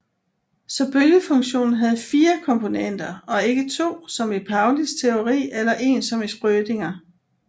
Så bølgefunktionen havde 4 komponenter og ikke to som i Paulis teori eller én som i Schrödinger